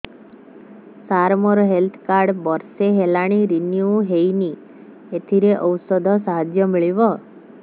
ସାର ମୋର health card ବର୍ଷେ ହେଲା ରିନିଓ ହେଇନି ଏଥିରେ ଔଷଧ ସାହାଯ୍ୟ ମିଳିବ